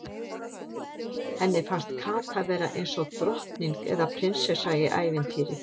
Henni fannst Kata vera eins og drottning eða prinsessa í ævintýri.